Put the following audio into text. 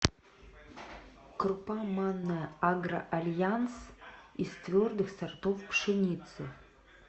крупа манная агро альянс из твердых сортов пшеницы